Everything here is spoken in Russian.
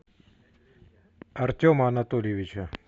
артема анатольевича